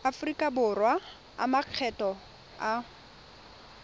aforika borwa a makgetho a